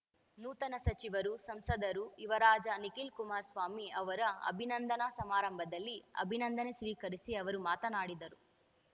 ನೂತನ ಸಚಿವರು ಸಂಸದರು ಯುವರಾಜ ನಿಖಿಲ್‍ಕುಮಾರಸ್ವಾಮಿ ಅವರ ಅಭಿನಂದನಾ ಸಮಾರಂಭದಲ್ಲಿ ಅಭಿನಂದನೆ ಸ್ವೀಕರಿಸಿ ಅವರು ಮಾತನಾಡಿದರು